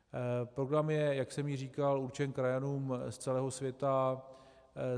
Program je, jak už jsem říkal, určen krajanům z celého světa.